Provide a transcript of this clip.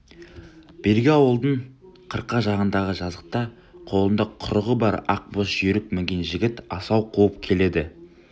бергі ауылдың қырқа жағындағы жазықта қолында құрығы бар ақ боз жүйрік мінген жігіт асау қуып келеді